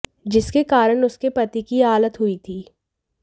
जिसके कारण उसके पति की यह हालत हुई थी